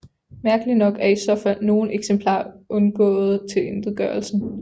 Mærkelig nok er i så fald nogle eksemplarer undgåede tilintetgørelsen